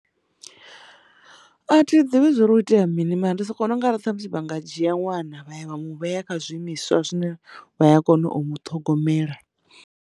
A thi ḓivhi zwa uri ho itea mini mara ndi soko vhona unga arali musi vha nga dzhia ṅwana vha ya vha mu vhea kha zwiimiswa zwine vha ya kona u muṱhogomela.